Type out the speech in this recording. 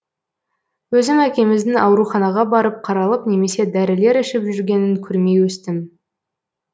өзім әкеміздің ауруханаға барып қаралып немесе дарілер ішіп жүргенін көрмей өстім